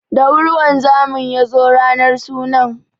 Da wuri wanzamin ya zo ranar sunan.